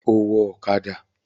Ó wọ ọ̀kadà!